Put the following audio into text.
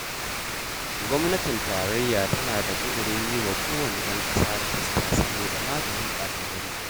Gwamnatin tarayya tana da ƙudirin yi wa kowane ɗan ƙasa rijista saboda maganin ɓata-gari.